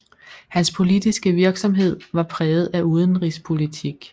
Hans politiske virksomhed var præget af udenrigspolitik